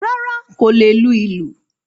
Rárá, kò lè lu ìlù.